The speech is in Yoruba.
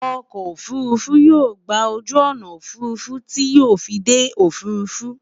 okò òfurufú yóò gbà ojú ọnà òfurufú ti yóò fí dé òfurufú